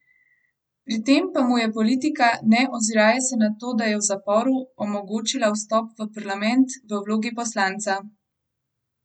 Pri tem pa mu je politika ne oziraje se na to, da je v zaporu, omogočila vstop v parlament v vlogi poslanca!